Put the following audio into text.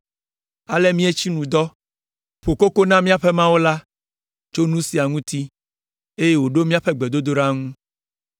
Ale míetsi nu dɔ, ƒo koko na míaƒe Mawu la tso nu sia ŋuti, eye wòɖo míaƒe gbedodoɖa ŋu.